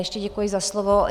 Ještě děkuji za slovo.